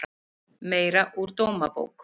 Meira úr Dómabók